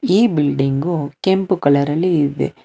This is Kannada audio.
ಈ ಬಿಲ್ಡಿಂಗು ಕೆಂಪು ಕಲರಲ್ಲಿ ಇದೆ.